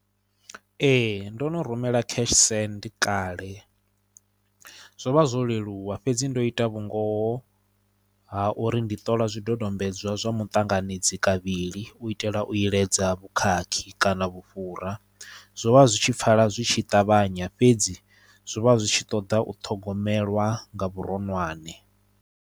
Ee ndo no rumela cash send kale zwo vha zwo leluwa fhedzi ndo ita vhungoho ha uri ndi ṱola zwidodombedzwa zwa muṱanganedzi kavhili u itela u iledza vhukhakhi kana vhufhura zwovha zwitshi pfala zwi tshi ṱavhanya fhedzi zwo vha zwi tshi ṱoḓa u thogomelwa nga vhuronwane.